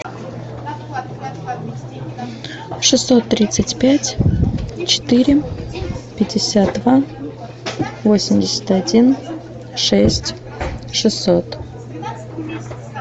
шестьсот тридцать пять четыре пятьдесят два восемьдесят один шесть шестьсот